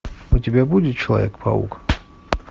у тебя будет человек паук